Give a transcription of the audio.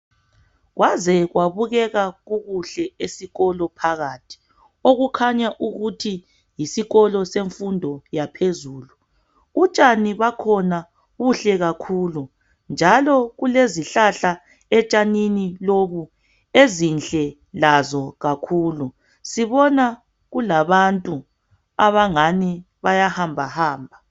kwaze kwabukeka kukuhle esikolo phakathi okukhanya ukuthi yisikolo semfundo yaphezulu utshani bakhona buhle kakhulu njalo kulezihlahla etshanini lobu ezinhle lazo kakhulu sibona kulabantu abangani bayahambahamba